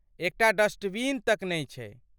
एकटा डस्टबिन तक नहि छै।